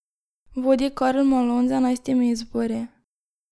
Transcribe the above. Vodi Karl Malone z enajstimi izbori.